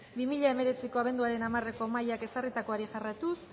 bi mila hemeretziko abenduaren hamareko mahaiak ezarritakoari jarraituz